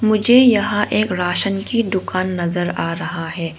मुझे यहां एक राशन की दुकान नजर आ रहा है।